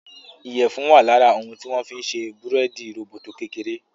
iyẹfun wá lára òun tí wón fí ń ṣe Búrẹ́ẹ́dì róbótó kékeré.